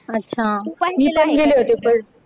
अच्छा मी पाहिलेले होते.